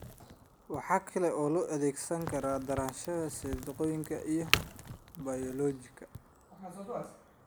waxa kale oo loo adeegsadaa daraasaadka sayniska iyo bayoolojiga.